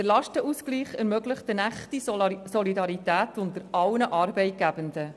Der Lastenausgleich ermöglicht eine echte Solidarität unter allen Arbeitgebenden.